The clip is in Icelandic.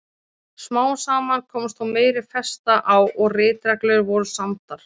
Smám saman komst þó meiri festa á og ritreglur voru samdar.